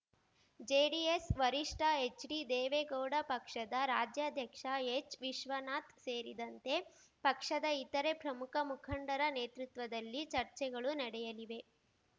JDS ವರಿಷ್ಠ ಎಚ್‌ಡಿದೇವೇಗೌಡ ಪಕ್ಷದ ರಾಜ್ಯಾಧ್ಯಕ್ಷ ಎಚ್‌ವಿಶ್ವನಾಥ್‌ ಸೇರಿದಂತೆ ಪಕ್ಷದ ಇತರೆ ಪ್ರಮುಖ ಮುಖಂಡರ ನೇತೃತ್ವದಲ್ಲಿ ಚರ್ಚೆಗಳು ನಡೆಯಲಿವೆ